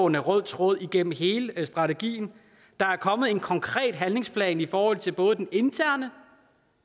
en rød tråd igennem hele strategien der er kommet en konkret handlingsplan i forhold til både det interne